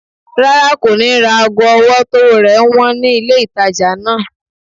Rárá, kò ní ra ago ọwọ́ tówó rẹ̀ wọ́n ní ilé ìtajà náà